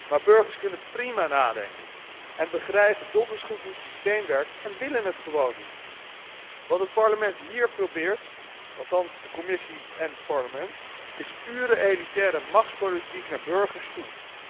Maar burgers kunnen prima nadenken en begrijpen donders goed hoe het systeem werkt en wíllen het gewoon niet. Wat het Parlement hier probeert, althans de Commissie en het Parlement, is pure elitaire machtspolitiek naar burgers toe.